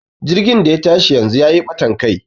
jirgin da ya tashi yanzu ya yi batan Kai